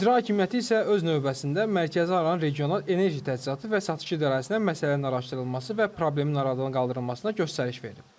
İcra Hakimiyyəti isə öz növbəsində Mərkəzi Aran Regional Enerji Təchizatı və Satışı İdarəsinə məsələnin araşdırılması və problemin aradan qaldırılmasına göstəriş verib.